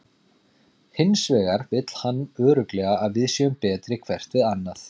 Hins vegar vill hann örugglega að við séum betri hvert við annað.